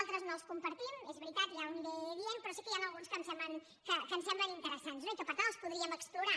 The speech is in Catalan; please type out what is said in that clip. altres no els compartim és veritat i ja ho aniré dient però sí que n’hi ha alguns que em semblen interessants i que per tant els podríem explorar